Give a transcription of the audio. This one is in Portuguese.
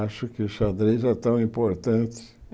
Acho que o xadrez é tão importante.